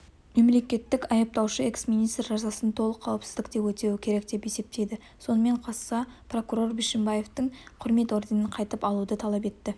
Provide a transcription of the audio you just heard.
мемлекеттік айыптаушы эксминистр жазасын толық қауіпсіздікте өтеуі керек деп есептейді сонымен қоса прокурор бишімбаевтан құрмет орденін қайтып алуды талап етті